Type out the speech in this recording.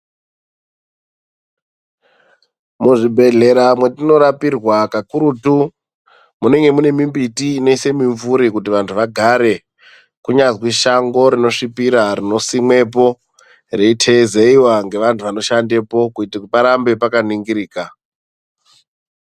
Muzvibhedhlera mwatinorapirwa kakurutu, munenge munemimbiti inoyisa mimvuri kuti vantu vagare, kunyazwi shango rinosvipira rinosimwepo, reyiteyizewa ngevantu vanoshandepo, kuyite kuti parambe pakaningirika.